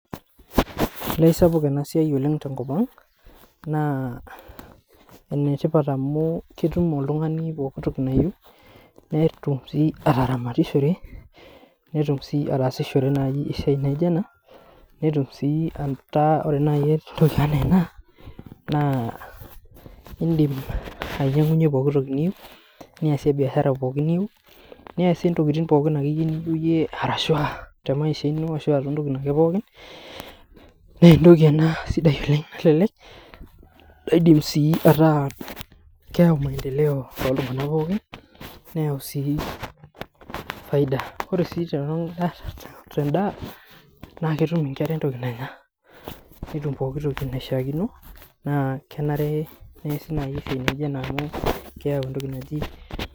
Olee aisapuk ena siai oleng tenkop ang naa, enetipat amu, ketum oltungani poki toki nayieu netum sii ataramatishore netum sii atasishore esiai naijo ena, netum sii aitaa ore esiai enaa ena naa, idim ainyiangu poki toki niyieu, niasie biashara poki niyieu. Niasie tokitin pookin akeyie niyieu te maisha ino arashu ah to tokitin ake pookin, nee etoki ena sidai oleng. Kelelek ah keyau maendeleo toltunganak pookin neyau sii faida. Ore sii te ndaa naa ketum inkera etoki nanya. Netum pooki toki naishiakino naa kenare neasi esiai naijo ena amu, keyau etoki naji.